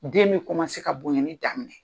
Den bɛ ka bonɲɛnni